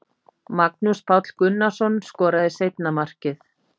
Magnús Páll Gunnarsson skoraði seinna markið.